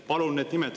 Palun need nimed!